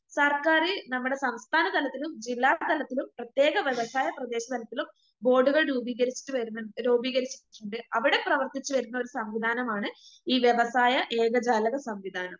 സർക്കാര് നമ്മടെ സംസ്ഥാനതലത്തിലും ജില്ലാ തലത്തിലും പ്രത്യേക വ്യവസായ ബോർഡുകൾ രൂപീകരിച്ചിട്ട് വരുന്ന രൂപീകരിച്ചിട്ടിണ്ട് അവടെ പ്രവർത്തിച്ചുവരുന്ന ഒരു സംവിധാനമാണ് ഈ വ്യവസായ ഏകജാലക സംവിധാനം.